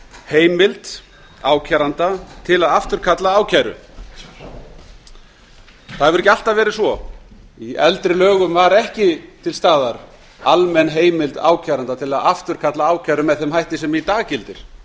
heimild ákæranda til að afturkalla ákæru það hefur ekki alltaf ferð svo í eldri lögum var ekki til staðar almenn heimild ákæranda til að afturkalla ákæru með þeim hætti sem í dag gildir